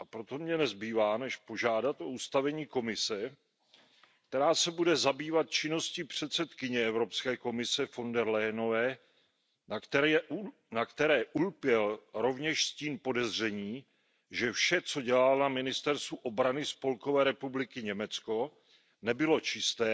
A proto mně nezbývá než požádat o ustavení komise, která se bude zabývat činností předsedkyně Evropské komise von den Leyenové, na které ulpěl rovněž stín podezření, že vše, co dělala na ministerstvu obrany Spolkové republiky Německo, nebylo čisté